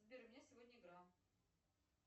сбер у меня сегодня игра